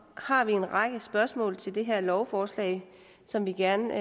har en række spørgsmål til det her lovforslag som vi gerne